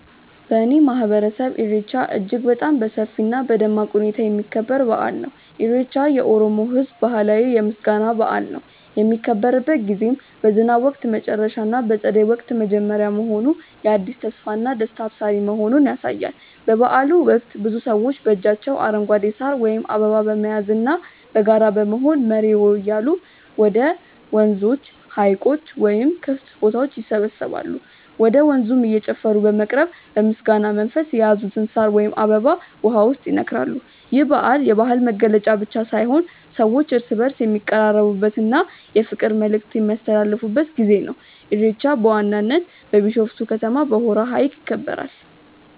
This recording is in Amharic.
በእኔ ማህበረሰብ ኢሬቻ እጅግ በጣም በሰፊ እና በደማቅ ሁኔታ የሚከበር በአል ነው። ኢሬቻ የኦሮሞ ህዝብ ባህላዊ የምስጋና በአል ነው። የሚከበርበት ጊዜም በዝናብ ወቅት መጨረሻ እና በፀደይ ወቅት መጀመሪያ መሆኑ የአዲስ ተስፋና ደስታ አብሳሪ መሆኑን ያሳያል። በበአሉ ወቅት ብዙ ሰዎች በእጃቸው አረንጓዴ ሳር ወይም አበባ በመያዝና በጋራ በመሆን "መሬዎ" እያሉ ወደ ወንዞች፣ ሀይቆች ወይም ክፍት ቦታዎች ይሰባሰባሉ። ወደ ወንዙም እየጨፈሩ በመቅረብ በምስጋና መንፈስ የያዙትን ሳር ወይም አበባ ውሃው ውስጥ ይነክራሉ። ይህ በዓል የባህል መገለጫ ብቻ ሳይሆን ሰዎች እርስ በእርስ የሚቀራረቡበት እና የፍቅር መልዕክት የሚያስተላልፉበት ጊዜ ነው። ኢሬቻ በዋናነት በቢሾፍቱ ከተማ በሆራ ሀይቅ ይከበራል።